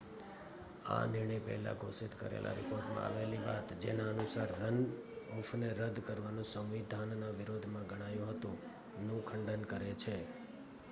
આ નિર્ણય પહેલા ઘોષિત કરેલા રિપોર્ટમાં આવેલી વાત જેના અનુસાર રન-ઑફને રદ્દ કરવુ સંવિધાનના વિરોધ માં ગણાયુ હતુ નું ખંડન કરે છે